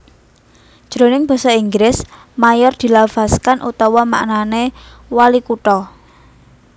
Jroning basa Inggris mayor dilafazkan utawa maknané walikutha